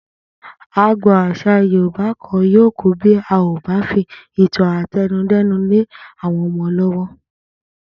Agbo̩n às̩à Yorùbá kan yóò kú bí a kò bá fi ìtàn àte̩nudé̩nu lé àwo̩n o̩mo̩ ló̩wó̩